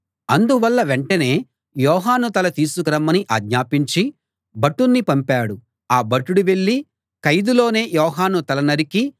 అందువల్ల అతడు వెంటనే యోహాను తల తీసుకు రమ్మని ఆజ్ఞాపించి భటుణ్ణి పంపాడు ఆ భటుడు వెళ్ళి ఖైదులోనే యోహాను తల నరికి